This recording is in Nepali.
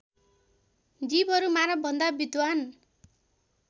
जीवहरू मानवभन्दा विद्धान